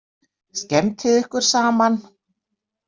Skemmtið ykkur saman.